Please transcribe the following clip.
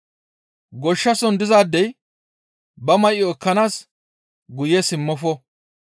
Goshshason dizaadey ba may7o ekkanaas guye simmofo.